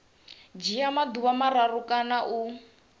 dzhia maḓuvha mararu kana u